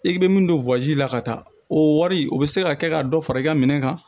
I bɛ min don la ka taa o wari o bɛ se ka kɛ ka dɔ fara i ka minɛn kan